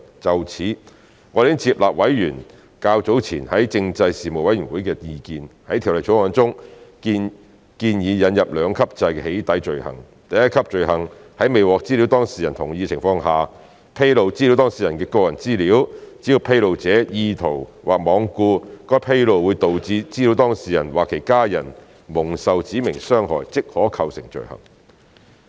就此，我們已接納委員較早前在政制事務委員會的意見，在《條例草案》中建議引入兩級制的"起底"罪行，第一級罪行在未獲資料當事人同意的情況下，披露資料當事人的個人資料，只要披露者意圖或罔顧該披露會導致資料當事人或其家人蒙受"指明傷害"，即可構成罪行。